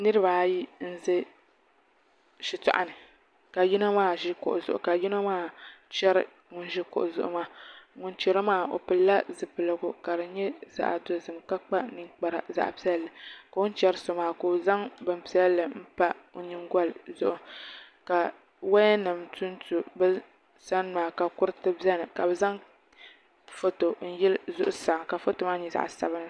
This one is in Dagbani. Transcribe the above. Niraba ayi n ʒɛ shitoɣu ni ka yino maa ʒɛ kuɣu zuɣu ka yino maa chɛri ŋun ʒi kuɣu zuɣu maa ŋun chɛro maa o pilila zipiligu ka di nyɛ zaɣ dozim ka kpa ninkpara zaɣ piɛlli ka o ni chɛri so maa ka o zaŋ bin piɛlli n pa o nyingoli zuɣu ka woya nim tuntu bi sani maa ka kuriti biɛni ka bi zaŋ foto n yili zuɣusaa ka foto maa nyɛ zaɣ sabinli